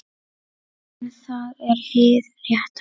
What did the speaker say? En það er hið rétta.